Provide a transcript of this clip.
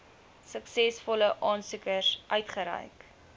suksesvolle aansoekers uitgereik